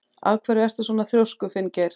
Af hverju ertu svona þrjóskur, Finngeir?